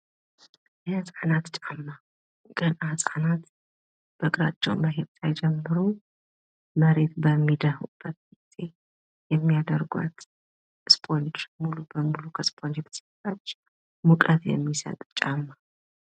የሕፃናት ጫማ ገና ሕፃናት በግራቸው መሄድ ሳይጀምሩ መሬት በሚድሁበት ጊዜ የሚያደርጕቸው ስፖንጅ ሙሉ ለሙሉ ከስፖንጅ የተሰራ ሙቀት የሚሰጥ ጫማ ነው::